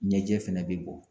Ɲɛjɛ fɛnɛ bɛ bɔ.